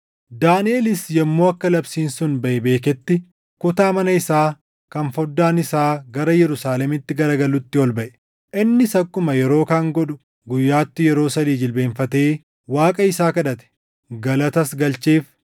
Daaniʼelis yommuu akka labsiin sun baʼe beeketti kutaa mana isaa kan foddaan isaa gara Yerusaalemitti garagalutti ol baʼe. Innis akkuma yeroo kaan godhu guyyaatti yeroo sadii jilbeenfatee Waaqa isaa kadhate, galatas galcheef.